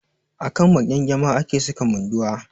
A kan maƙyangyama ake saka Munduwa.